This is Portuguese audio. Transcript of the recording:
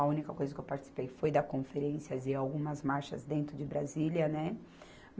A única coisa que eu participei foi da conferências e algumas marchas dentro de Brasília, né?